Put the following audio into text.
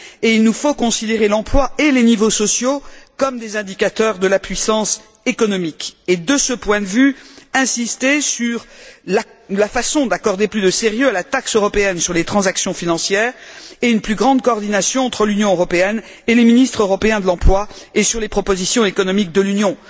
Il nous faut considérer l'emploi et les niveaux sociaux comme des indicateurs de la puissance économique et, de ce point de vue, insister sur la façon d'accorder plus de sérieux à la taxe européenne sur les transactions financières et à une plus grande coordination entre l'Union européenne et les ministres européens de l'emploi ainsi qu'aux propositions économiques de l'Union.